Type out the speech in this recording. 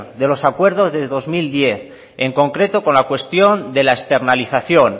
de los acuerdo de dos mil diez en concreto con la cuestión de la externalización